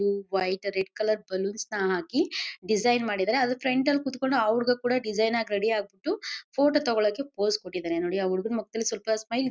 ಇದು white red colour ನ್ balloons ನ ಹಾಕಿ ಡಿಸೈನ್ ಮಾಡಿದ್ದಾರೆ ಅದರ ಫ್ರಂಟ್ ಲಿ ಕೂತುಕೊಂಡು ಅವರಿಗೂ ಕೂಡ ಡಿಸೈನ್ ಆಗಿ ರೆಡಿ ಆಗ್ಬಿಟ್ಟು ಪಕ್ಕದಲ್ಲಿ ದೇವರ ಮೂರ್ತಿಗಳಿವೆ ಫೋಟೋ ತಗೊಳ್ಳಕ್ಕೆ ಪೋಸ್ ಕೊಟ್ಟಿದ್ದಾರೆ ನೋಡಿ ಆ ಹುಡುಗನ ಮುಖದಲ್ಲಿ ಸ್ವಲ್ಪ ಸ್ಮೈಲ್ ಇದೆ.